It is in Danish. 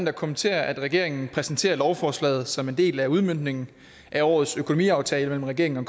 at kommentere at regeringen præsenterer lovforslaget som en del af udmøntningen af årets økonomiaftale mellem regeringen og